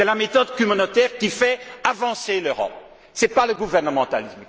C'est la méthode communautaire qui fait avancer l'Europe, ce n'est pas le gouvernementalisme!